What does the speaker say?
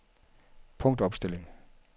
punktopstilling